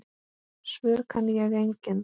Svör kann ég engin.